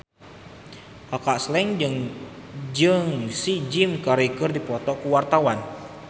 Kaka Slank jeung Jim Carey keur dipoto ku wartawan